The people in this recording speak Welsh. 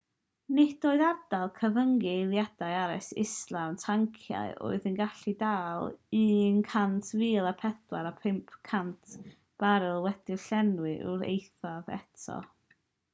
nid oedd ardal gyfyngu eilaidd arall islaw'r tanciau oedd yn gallu dal 104,500 baril wedi'u llenwi i'r eithaf eto